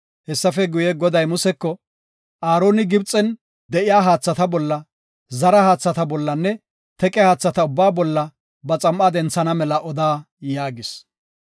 Goday Museko, “Aaroni Gibxen de7iya haathata bolla, zara haathata bollanne teqe haatha ubbaa bolla ba xam7aa denthana mela oda” yaagis.